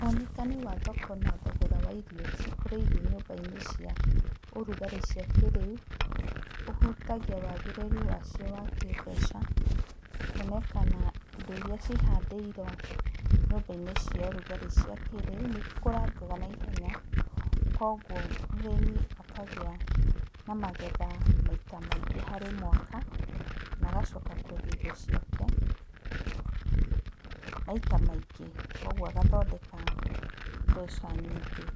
Wonekani wa thoko na thogora wa irio cikũrĩirio nyũmba-inĩ cia ũrugarĩ cia kĩrĩu ũhutagia wagĩrĩru wacio wa kĩmbeca kuonekana indo iria cihandĩirwo nyũmba-inĩ cia ũrugarĩ cia kĩrĩu nĩikũrangaga naihenya kuoguo mũrĩmi akagĩa na magetha maita maingĩ harĩ mwaka na agacoka kendia indo ciake maita maingĩ kuoguo agathondeka mbeca nyingĩ.